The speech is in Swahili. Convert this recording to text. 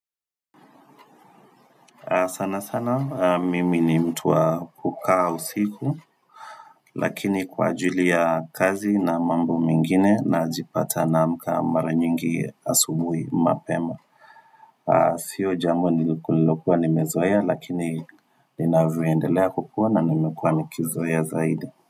Sana sana, mimi ni mtu wa kukaa usiku, lakini kwa ajili ya kazi na mambo mengine najipata naamka mara nyingi asubui mapema. Sio jambo nilikuwa nimezoea lakini linavyoendelea kukua na nimekua nikizoea zaidi.